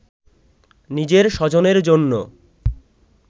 নিজের স্বজনের জন্য